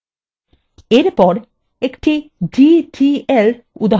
এরপর একটি ddl উদাহরণ দেখা যাক